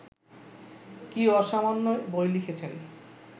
কী অসামান্য বই লিখেছেন